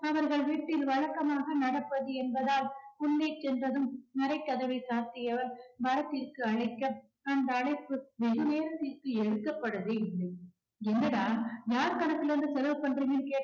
அவர்கள் வீட்டில் வழக்கமாக நடப்பது என்பதால் உள்ளே சென்றதும் மரக்கதவை சாத்தியவர் பரத்திற்கு அழைக்க அந்த அழைப்பு வெகு நேரத்திற்கு எடுக்கப்படவே இல்லை என்னடா யார் கணக்குல இருந்து செலவு பண்றீங்கன்னு கேட்டா